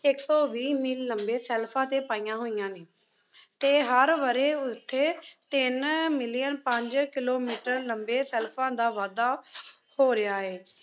ਇੱਕ ਸੌ ਵੀਹ ਮੀਲ ਲੰਮੇ ਸ਼ੈਲਫ਼ਾਂ 'ਤੇ ਪਈਆਂ ਹੋਇਆਂ ਨੇ ਅਤੇ ਹਰ ਵਰ੍ਹੇ ਓੁੱਥੇ ਤਿੰਨ million ਪੰਜ ਕਿਲੋਮੀਟਰ ਲੰਮੇ ਸ਼ੈਲਫ਼ਾਂ ਦਾ ਵਾਧਾ ਹੋ ਰਿਹਾ ਹੈ।